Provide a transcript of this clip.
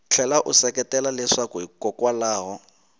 tlhela u seketela leswaku hikokwalaho